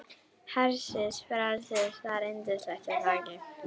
Hersir, frelsið, það er yndislegt er það ekki?